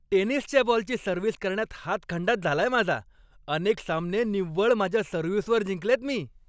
टेनिसच्या बॉलची सर्व्हिस करण्यात हातखंडाच झालाय माझा. अनेक सामने निव्वळ माझ्या सर्व्हिसवर जिंकलेत मी.